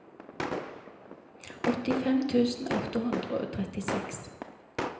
åttifem tusen åtte hundre og trettiseks